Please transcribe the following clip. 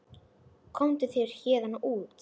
Komdu þér héðan út.